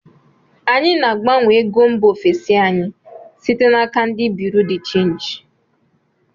Anyị na-agbanwe ego mba ofesi anyị site na aka ndị buriu di chenji